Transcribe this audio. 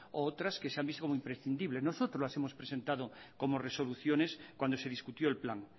u otras que se han visto como imprescindibles nosotros las hemos presentado como resoluciones cuando se discutió el plan